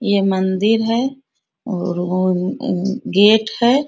ये मंदिर है और वोअअ अ गेट है।